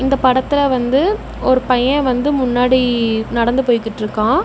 இந்த படத்துல வந்து ஒரு பைய வந்து முன்னாடி நடந்து போய்கிட்ருக்கா.